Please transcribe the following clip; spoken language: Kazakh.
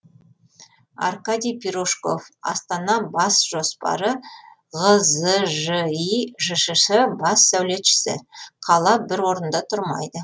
аркадий пирожков астана бас жоспары ғзжи жшс бас сәулетшісі қала бір орында тұрмайды